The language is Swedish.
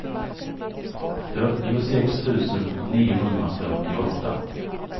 fyrtiosex tusen niohundrafyrtioåtta